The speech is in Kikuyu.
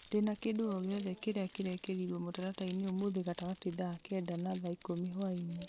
ndĩna kĩndũ o gĩothe kĩrĩa kĩrekĩrirwo mũtaratara-inĩ ũmũthĩ gatagatĩ thaa kenda na thaa ikũmi hwaĩ-inĩ